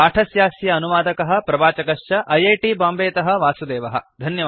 पाठस्यास्य अनुवादकः प्रवाचकश्च ऐ ऐ टी बाम्बेतः वासुदेवः